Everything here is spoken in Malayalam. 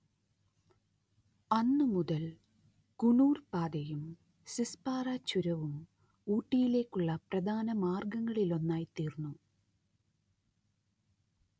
അന്നു മുതൽ കുണൂർ പാതയും സിസ്‌പാറ ചുരവും ഊട്ടിയിലേക്കുള്ള പ്രധാന മാർഗങ്ങളിലൊന്നായിത്തീർന്നു